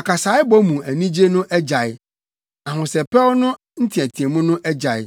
Akasaebɔ mu anigye no agyae, ahosɛpɛwfo no nteɛteɛmu no agyae.